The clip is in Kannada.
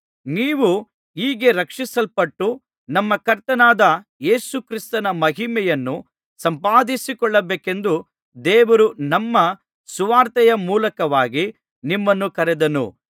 ನೀವು ಹೀಗೆ ರಕ್ಷಿಸಲ್ಪಟ್ಟು ನಮ್ಮ ಕರ್ತನಾದ ಯೇಸು ಕ್ರಿಸ್ತನ ಮಹಿಮೆಯನ್ನು ಸಂಪಾದಿಸಿಕೊಳ್ಳಬೇಕೆಂದು ದೇವರು ನಮ್ಮ ಸುವಾರ್ತೆಯ ಮೂಲಕವಾಗಿ ನಿಮ್ಮನ್ನು ಕರೆದನು